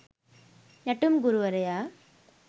නැටුම් ගුරුවරයා.